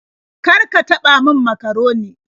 Kar ka taɓa min makaroni.